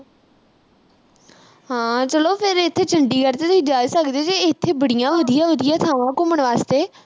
ਹਾਂ। ਚਲੋ ਫਿਰ ਇਥੇ ਚੰਡੀਗੜ੍ਹ ਵੀ ਤਾਂ ਜਾ ਸਕਦੇ ਫਿਰ। ਇਥੇ ਬੜੀਆਂ ਵਧੀਆ-ਵਧੀਆ ਥਾਵਾਂ ਘੁੰਮਣ ਵਾਸਤੇ।